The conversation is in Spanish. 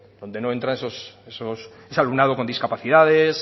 donde no entran ese alumnado con discapacidades